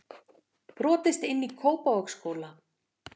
Brotist inn í Kópavogsskóla